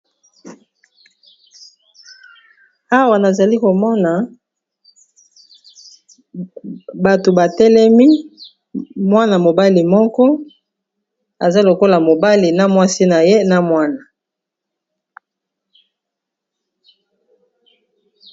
Awa nazali komona bato batelemi mwana-mobali moko aza lokola mobali na mwasi na ye na mwana.